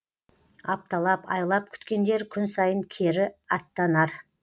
апталап айлап күткендер күн сайын кері аттанар